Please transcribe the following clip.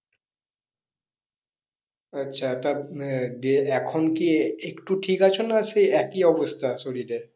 আচ্ছা। তো আহ দিয়ে এখন কি একটু ঠিক আছো না সেই একই অবস্থা শরীরের?